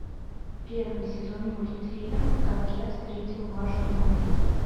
первый сезон мультфильм как я встретил вашу маму